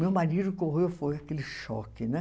Meu marido correu, foi aquele choque, né?